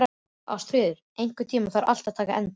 Ástfríður, einhvern tímann þarf allt að taka enda.